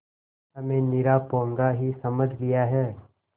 हमें निरा पोंगा ही समझ लिया है